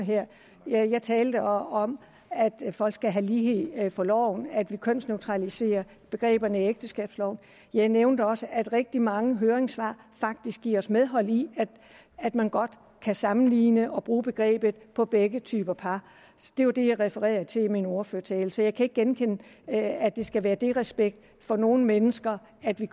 her jeg talte om at folk skal have lighed for loven at vi kønsneutraliserer begreberne i ægteskabsloven jeg nævnte også at rigtig mange høringssvar faktisk giver os medhold i at man godt kan sammenligne og bruge begrebet på begge typer par det var det jeg refererede til i min ordførertale så jeg kan ikke genkende at at det skal være disrespekt for nogen mennesker at vi